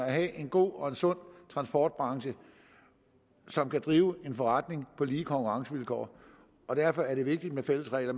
at have en god og sund transportbranche som kan drive en forretning på lige konkurrencevilkår derfor er det vigtigt med fælles regler